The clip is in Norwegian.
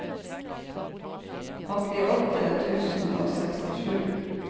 åttiåtte tusen og sekstisju